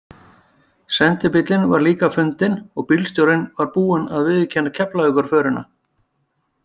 Sendibíllinn var líka fundinn og bílstjórinn var búinn að viðurkenna Keflavíkurförina.